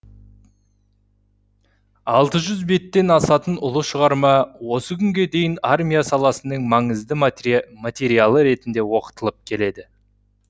алты жүз беттен асатын ұлы шығарма осы күнге дейін армия саласының маңызды материялы ретінде оқытылып келеді